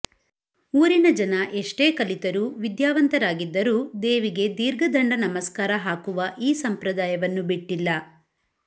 ಊರಿನ ಜನ ಎಷ್ಟೇ ಕಲಿತರೂ ವಿದ್ಯಾವಂತರಾಗಿದ್ದರೂ ದೇವಿಗೆ ದೀರ್ಘದಂಡ ನಮಸ್ಕಾರ ಹಾಕುವ ಈ ಸಂಪ್ರದಾಯವನ್ನು ಬಿಟ್ಟಿಲ್ಲ